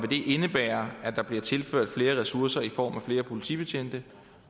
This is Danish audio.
indebære at der bliver tilført flere ressourcer i form af flere politibetjente